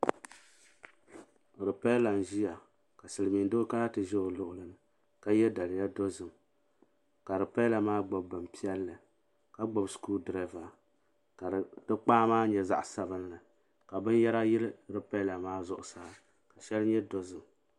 Ripela n-ʒiya ka Silimiindoo kana ti ʒi o luɣili ka ye daliya dozim ka ripela maa gbubi bin piɛlli ka gbubi shikurudurooba ka di kpaa maa nyɛ zaɣ'sabinli ka binyɛra yili ripela maa zuɣusaa ka shɛli nyɛ dozim.